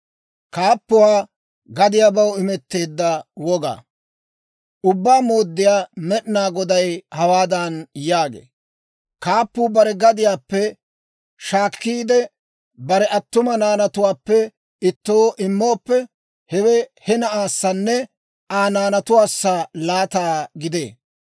« ‹Ubbaa Mooddiyaa Med'inaa Goday hawaadan yaagee; «Kaappuu bare gadiyaappe shaakkiide, bare attuma naanatuwaappe ittoo immooppe, hewe he na'aassanne Aa naanatuwaassi laataa gidee.